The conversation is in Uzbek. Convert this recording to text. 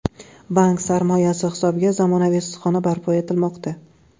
Bank sarmoyasi hisobiga zamonaviy issiqxona barpo etilmoqda.